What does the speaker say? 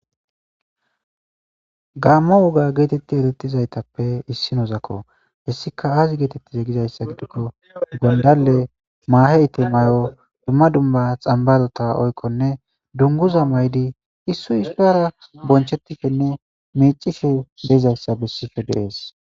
gaammo woga geetetti etettizaytappe issi noozakko hessika aazi geetettize gizayssa gidikko gondalle maaheyte may7o dumma dumba xambazota oykkonne dunguza maydi issoy ispara bonchetishenne miicishe deizayssa bessishe deees